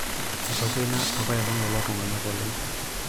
etokwenia apailong lelo tung'anak oleng'